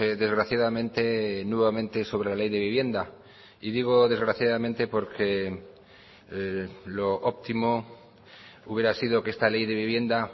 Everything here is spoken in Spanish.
desgraciadamente nuevamente sobre la ley de vivienda y digo desgraciadamente porque lo óptimo hubiera sido que esta ley de vivienda